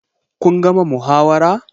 Kun gama muhawara?